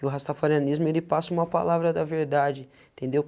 E o rastafarianismo, ele passa uma palavra da verdade, entendeu?